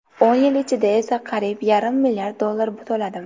O‘n yil ichida esa qariyb yarim milliard dollar to‘ladim.